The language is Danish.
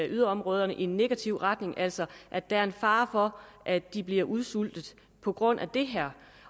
yderområderne i en negativ retning altså at der er en fare for at de bliver udsultet på grund af det her